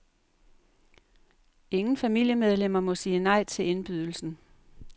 Ingen familiemedlemmer må sige nej til indbydelsen.